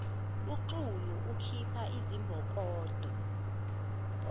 uxulu ukhipha izimbokodo